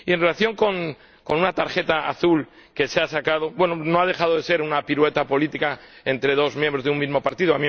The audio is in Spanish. En relación con una tarjeta azul que se ha mostrado, no ha dejado de ser una pirueta política entre dos miembros de un mismo partido.